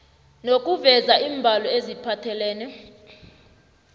nokuveza iimbalo eziphathelene